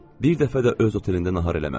Bir dəfə də öz otelində nahar eləməmişdi.